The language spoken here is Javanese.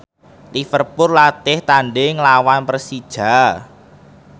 Liverpool latih tandhing nglawan Persija